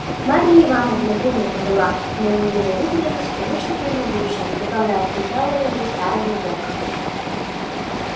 марья ивановна принята была моими родителями с тем искренним радушием которое отличало людей старого века